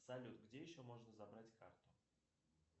салют где еще можно забрать карту